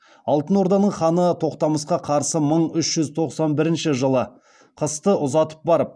алтын орданың ханы тоқтамысқа қарсы мың үш жүз тоқсан бірінші жылы қысты ұзатып барып